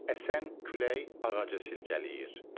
Əsən külək ağacı silkələyir.